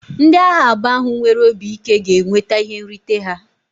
Ndị agha abụọ ahụ nwere obi ike ga-enweta ihe nrite ha.